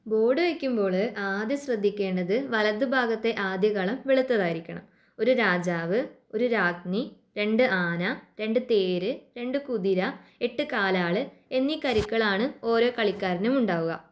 Board വെയ്ക്കുമ്പോള് ആദ്യം ശ്രദ്ധിക്കേണ്ടത് വലതുഭാഗത്തെ ആദ്യകളം വെളുത്തതായിരിക്കണം. ഒരു രാജാവ്, ഒരു രാജ്ഞി, രണ്ട് ആന, രണ്ട് തേര്, രണ്ട് കുതിര, എട്ട് കാലാള് എന്നീ കരുക്കളാണ് ഓരോ കളിക്കാരനും ഉണ്ടാവുക.